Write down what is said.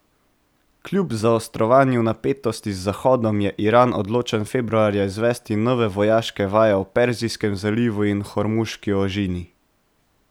Kljub zaostrovanju napetosti z Zahodom je Iran odločen februarja izvesti nove vojaške vaje v Perzijskem zalivu in Hormuški ožini.